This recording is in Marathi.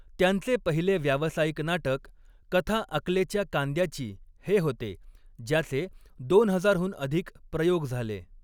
त्यांचे पहिले व्यावसायिक नाटक 'कथा अकलेच्या कांद्या'ची हे होते, ज्याचे दोन हजारहून अधिक प्रयोग झाले.